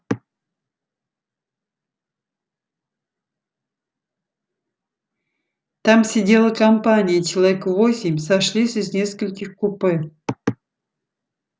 там сидела компания человек восемь сошлись из нескольких купе